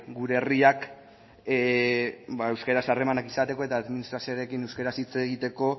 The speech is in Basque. gure herriak ba euskaraz harremanak izateko eta administrazioarekin euskaraz hitz egiteko